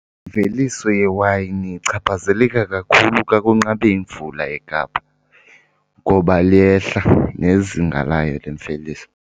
Imveliso yewayini ichaphazeleka kakhulu xa kunqabe imvula eKapa ngoba liyehla nezinga layo lemveliso.